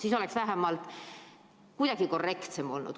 Siis oleks vähemalt kuidagigi korrektsem olnud.